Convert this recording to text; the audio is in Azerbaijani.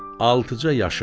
Altıca yaşı var.